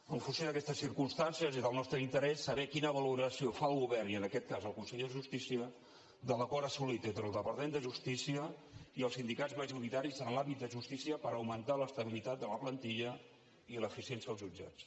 en funció d’aquestes circumstancies és el nostre interès saber quina valoració fa el govern i en aquest cas el conseller de justícia de l’acord assolit entre el departament de justícia i els sindicats majoritaris en l’àmbit de justícia per augmentar l’estabilitat de la plantilla i l’eficiència als jutjats